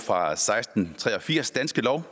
fra seksten tre og firs danske lov og